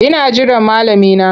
Ina jiran malami na.